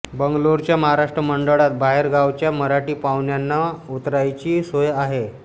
बंगलोरच्या महाराष्ट्र मंडळात बाहेरगावच्या मराठी पाहुण्यांना उतरायची सोय आहे